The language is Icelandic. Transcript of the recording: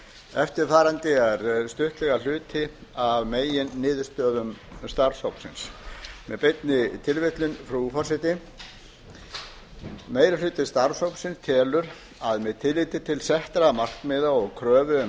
eftirfarandi er stuttlega hluti af meginniðurstöðum starfshópsins með beinni tilvitnun frú forseti meiri hluti starfshópsins telur að með tilliti til þessara markmiða og kröfu um